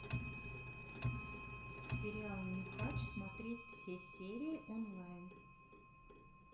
сериал нюхач смотреть все серии онлайн